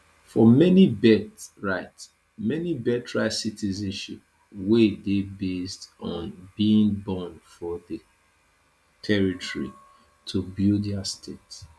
for many birthright many birthright citizenship wey dey based on being born for di territory to build dia state